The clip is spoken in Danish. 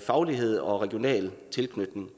faglighed og regional tilknytning